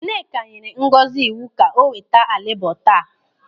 Nneka nyere Ngozi iwu ka o weta álịbọ̀ taa.